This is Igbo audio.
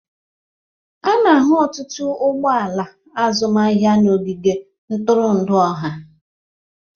A na-ahụ ọtụtụ ụgbọ ala azụmahịa n'ogige ntụrụndụ ọha